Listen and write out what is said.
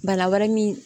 Bana wɛrɛ min